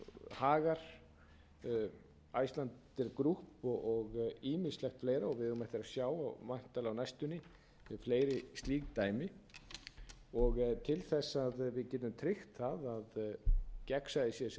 hagar icelandair group og ýmislegt fleira við eigum eftir að sjá væntanlega á næstunni fleiri slík dæmi til þess að við getum tryggt það að gegnsæið sé sem mest